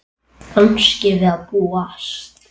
Kannski við að búast.